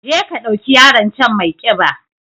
Je ka ɗauki yaron can maiƙiba